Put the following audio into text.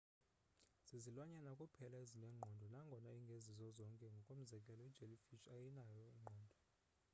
zizilwanyana kuphela ezinengqondo nangona ingezizo zonke; ngokomzekelo ijellyfish ayinayo ingqondo